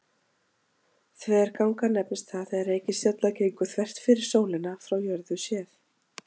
Þverganga nefnist það þegar reikistjarna gengur þvert fyrir sólina frá jörðu séð.